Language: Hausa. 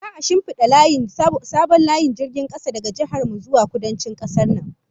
Za'a shinfida sabon layin jirgin kasa daga jihar mu zuwa Kudancin kasar nan